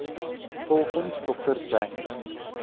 volgens dr james